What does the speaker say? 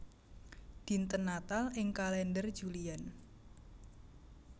Dinten Natal ing kalèndher Julian